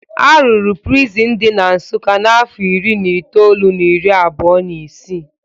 Arụrụ prịsịn di na Nsụkka n'afọ ịrị na ịtoolụ na iri abụo na'ịsị